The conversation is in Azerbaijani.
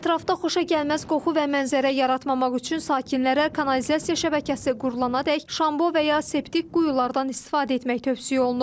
Ətrafda xoşagəlməz qoxu və mənzərə yaratmamaq üçün sakinlərə kanalizasiya şəbəkəsi qurulanadək şambo və ya septik quyulardan istifadə etmək tövsiyə olunub.